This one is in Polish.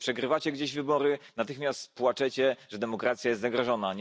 Kiedy przegrywacie gdzieś wybory, natychmiast płaczecie, że demokracja jest zagrożona.